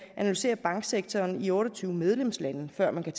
analysere banksektoren i otte og tyve medlemslande før man kan